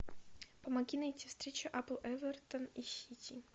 помоги найти встречу апл эвертон и сити